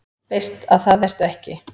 Veist að það ertu ekki.